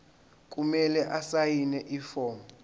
kumele asayine ifomu